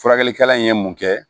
Furakɛlikɛla in ye mun kɛ